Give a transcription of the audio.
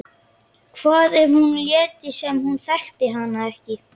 Hvað ef hún léti sem hún þekkti hann ekki?